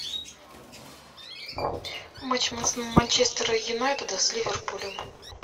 матч манчестера юнайтеда с ливерпулем